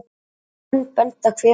Menn benda hver á annan.